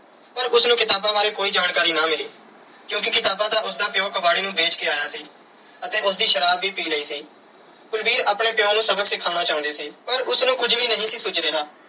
ਪਰ ਉਸ ਨੂੰ ਕਿਤਾਬਾਂ ਬਾਰੇ ਕੋਈ ਜਾਣਕਾਰੀ ਨਾ ਮਿਲੀ ਕਿਉਂਕਿ ਕਿਤਾਬਾਂ ਤਾਂ ਉਸ ਦਾ ਪਿਉ ਕਬਾੜੀ ਨੂੰ ਵੇਚ ਕੇ ਆਇਆ ਸੀ ਅਤੇ ਉਸ ਦੀ ਸ਼ਰਾਬ ਵੀ ਪੀ ਲਈ ਸੀ। ਕੁਲਵੀਰ ਆਪਣੇ ਪਿਉ ਨੂੰ ਸਬਕ ਸਿਖਾਉਣਾ ਚਾਹੁੰਦੀ ਸੀ ਪਰ ਉਸ ਨੂੰ ਕੁਝ ਵੀ ਨਹੀਂ ਸੀ ਸੁੱਝ ਰਿਹਾ।